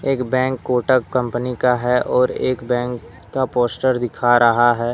एक bank Kotak company का है और एक बैंक का पोस्टर दिखा रहा है।